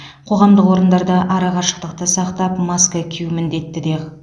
қоғамдық орындарда ара қашықтықты сақтап маска кию міндетті де